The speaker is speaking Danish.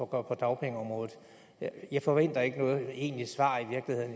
på dagpengeområdet jeg forventer ikke noget egentligt svar